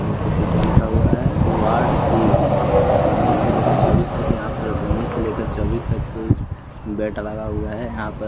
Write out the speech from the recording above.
देख सकते हैं क्या लिखा हुआ है वार्ड सी उन्नीस से लेकर चौबीस तक यहाँ पर उन्नीस से लेकर चौबीस तक बैट लगा हुआ है यहाँ पर --